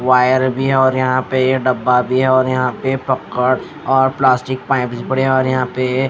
wire भी और यहां पे यह डब्बा भी है और यहां पे पक्का और प्लास्टिक पाइप पड़े और यहां पे --